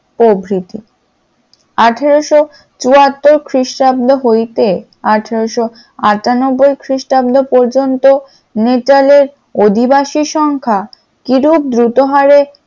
প্রভৃতি আঠারোশ চুয়াত্তর খ্রিস্টাব্দ হইতে আঠারোশ আঠানব্বই খ্রিষ্টাব্দ পর্যন্ত মিতালের অধিবাসী সংখ্যা কিরূপ দ্রুত হাড়ে ।